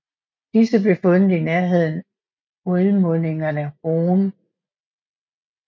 Disse blev fundet i nærheden udmundingerne Rhône